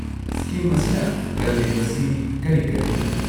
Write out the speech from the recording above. Scheme ꯑꯁꯤꯅ ꯀꯜꯂꯤꯕꯁꯤ ꯀꯔꯤ-ꯀꯔꯤꯅꯣ?